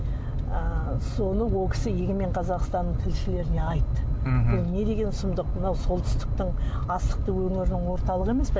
ы соны ол кісі егемен қазақстанның тілшілеріне айт мхм бұл не деген сұмдық мынау солтүстіктің астықты өңірінің орталығы емес пе